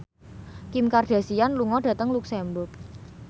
Kim Kardashian lunga dhateng luxemburg